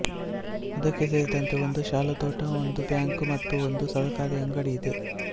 ಅದಕ್ಕೆ ಸೇರಿದಂತೆ ಒಂದು ಶಾಲಾತೋಟ ಒಂದು ಬ್ಯಾಂಕು ಮತ್ತು ಒಂದು ಸಹಕಾರಿ ಅಂಗಡಿ ಇದೆ